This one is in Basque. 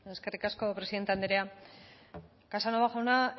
eskerrik asko presidente andrea casanova jauna